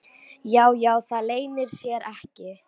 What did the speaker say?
Já, já, það leynir sér ekki.